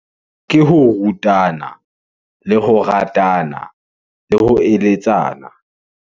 Ke ho rutana, le ho ratana, le ho eletsana.